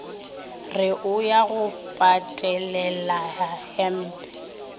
re o ya go patelelahempe